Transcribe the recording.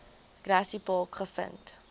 grassy park gevind